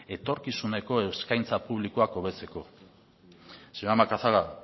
etorkizuneko eskaintza publikoak hobetzeko señora macazaga